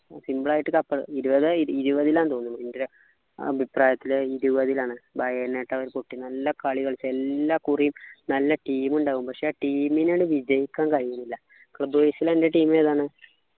simple ആയിട്ട് cup ഇരുപത് ഇരുപത്തിലാ ന്നു തോന്നുന്നു എൻ്റെ ഒരു അഭിപ്രായത്തിൽ ഇരുപതിൽ ആണ് ന്നു പറഞ്ഞിട്ടൊരു കുട്ടി നല്ല കളി കളിച്ചു എല്ലാകുറിയും നല്ല team ഉണ്ടാകും പക്ഷെ team നു ങ്ങട് വിജയിക്കാൻ കഴിയുന്നില്ല club wise ലെന്നെ team ഏതാണ്